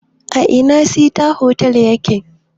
A ina sita hotal ya ke?